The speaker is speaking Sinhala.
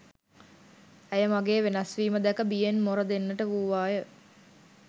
ඇය මගේ වෙනස්වීම දැක බියෙන් මොර දෙන්නට වූවාය